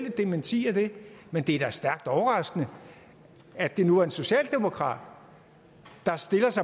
et dementi af det men det er da stærkt overraskende at det nu er en socialdemokrat